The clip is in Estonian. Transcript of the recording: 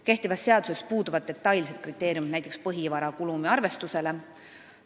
Kehtivas seaduses puuduvad detailsed kriteeriumid, kuidas arvestada näiteks põhivara kulumit.